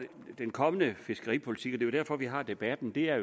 den kommende fiskeripolitik er jo derfor vi har debatten er